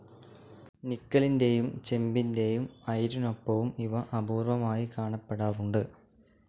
നിക്കലിന്റെയും ചെമ്പിന്റെയും അയിരിനൊപ്പവും ഇവ അപൂർവമായി കാണപ്പെടാറുണ്ട്.